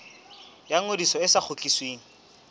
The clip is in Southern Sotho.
ya ngodiso e sa kgutlisweng